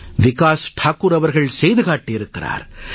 விகாஸ் தாக்கூர் அவர்கள் செய்து காட்டியிருக்கிறார்